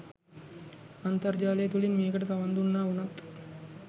අන්තර්ජාලය තුළින් මේකට සවන් දුන්නා වුණත්